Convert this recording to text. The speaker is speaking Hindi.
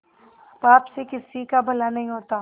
पाप से किसी का भला नहीं होता